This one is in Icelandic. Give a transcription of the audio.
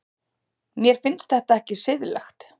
Mér finnst þetta ekki siðlegt.